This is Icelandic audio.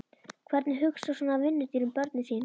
Hvernig hugsar svona vinnudýr um börnin sín?